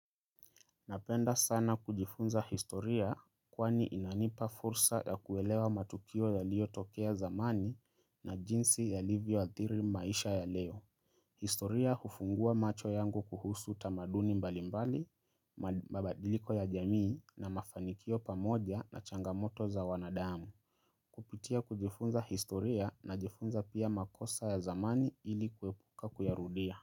Napenda sana kujifunza historia kwani inanipa fursa ya kuelewa matukio yaliyotokea zamani na jinsi yalivyoathiri maisha ya leo. Historia hufungua macho yangu kuhusu tamaduni mbalimbali, mabadiliko ya jamii na mafanikio pamoja na changamoto za wanadamu. Kupitia kujifunza historia najifunza pia makosa ya zamani ili kuepuka kuyarudia.